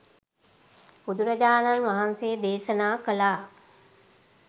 බුදුරජාණන් වහන්සේ දේශනා කළා